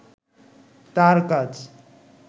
তার কাজ